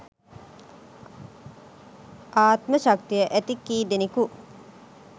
ආත්ම ශක්තිය ඇති කීදෙනෙකු